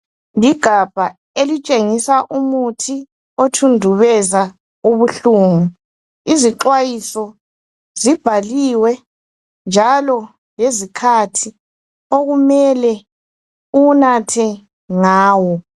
Ligabha elitshengisa umuthi othundubeza ubuhlungu. Izixwayiso zibhaliwe njalo lezikhathi okumele uwunathe ngawo.